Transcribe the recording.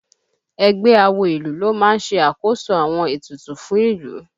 Ẹgbẹ́ awo ìlú ló máa ń ṣe àkóso àwọn ètùtù fún ìlú